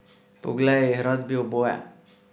Poglej, rad bi oboje.